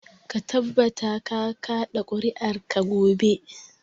Ka tabbata ka kaɗa ƙuri'arka gobe.